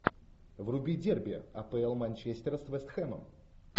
вруби дерби апл манчестер с вест хэмом